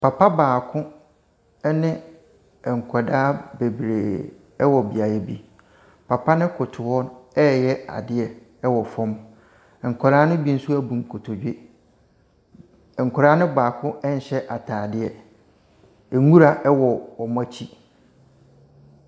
Papa baako ɛne nkwadaa bebree ɛwɔ beaeɛ bi. Papa no koto hɔ reyɛ adeɛ ɛwɔ fam. Nkwadaa no bi nso ɛbu nkotodwe. Nkwadaa no baako ɛnhyɛ ataadeɛ. Nwura ɛwɔ wɔnakyi.